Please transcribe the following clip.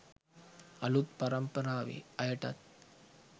අලුත් පරම්පරාවේ අයටත්